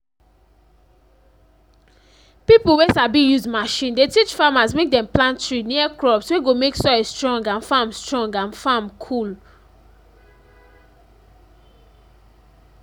pipo wey sabi use machine dey teach farmers mek dem plant tree near crops wey go mek soil strong and farm strong and farm cool